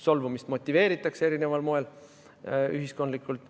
Solvumist motiveeritakse erineval moel ka ühiskondlikult.